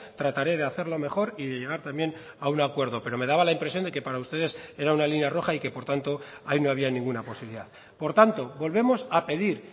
trataré de hacerlo mejor y de llegar también a un acuerdo pero me daba la impresión de que para ustedes era una línea roja y que por tanto ahí no había ninguna posibilidad por tanto volvemos a pedir